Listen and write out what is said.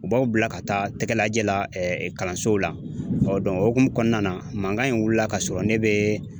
U b'aw bila ka taa tɛgɛ lajɛ la kalansow la ɔ o hukumu kɔnɔna na mankan in wulila k'a sɔrɔ ne bɛ